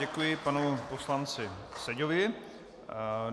Děkuji panu poslanci Seďovi.